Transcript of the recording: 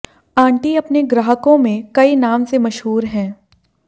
aunty अपने ग्राहकों में कई नाम से मशहूर हैं